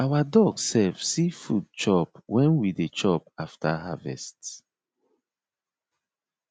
our dog sef see food chop when we dey chop after harvest